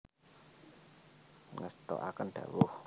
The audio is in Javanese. Ngestoaken dhawuh